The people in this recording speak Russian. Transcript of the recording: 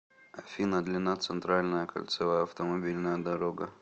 афина длина центральная кольцевая автомобильная дорога